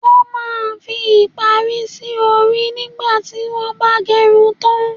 Wọn máa ń fi ìparí sì orí nígbà tí wọn ba gerun tan.